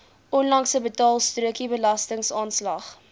onlangse betaalstrokie belastingaanslag